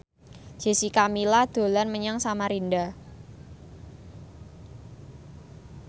Jessica Milla dolan menyang Samarinda